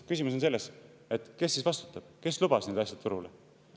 Küsimus on selles, kes siis vastutab, kes lubas need asjad turule.